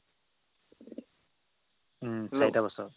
উম চাৰিটা বছৰ